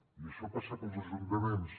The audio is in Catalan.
i això passa pels ajuntaments